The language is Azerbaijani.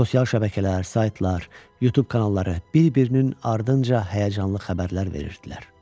Sosial şəbəkələr, saytlar, Youtube kanalları bir-birinin ardınca həyəcanlı xəbərlər verirdilər.